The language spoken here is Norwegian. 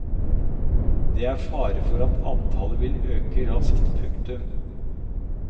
Det er fare for at antallet vil øke raskt. punktum